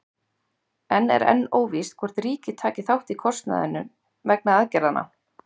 En er enn óvíst hvort ríkið taki þátt í kostnaði vegna aðgerðanna?